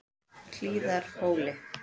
Hlíðarhóli